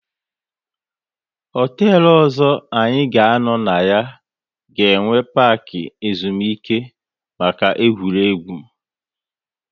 Hotelu ọzọ anyị ga anọ na ya, ga enwe parki ezumike maka egwuregwu